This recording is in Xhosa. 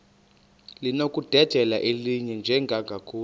linokudedela elinye njengakule